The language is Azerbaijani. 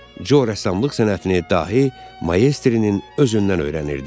Co rəssamlıq sənətini dahi Maestrin özündən öyrənirdi.